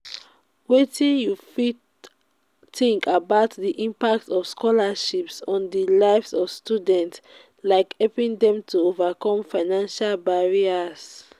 wetin you think about di impact of scholarships on di lives of students like helping dem to overcome financial barriers?